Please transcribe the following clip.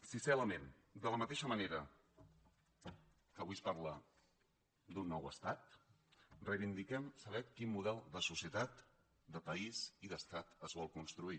sisè element de la mateixa manera que avui es parla d’un nou estat reivindiquem saber quin model de societat de país i d’estat es vol construir